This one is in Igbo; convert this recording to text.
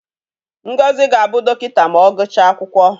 Ngozi ga-abụ dọkịta ma ọ gụchaa akwụkwọ.